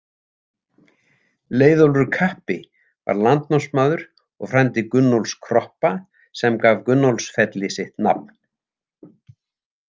Leiðólfur kappi var landnámsmaður og frændi Gunnólfs kroppa sem gaf Gunnólfsfelli sitt nafn.